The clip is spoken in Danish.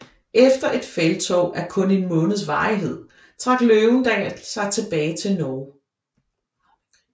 Efter et felttog af kun en måneds varighed trak Løvendal sig tilbage til Norge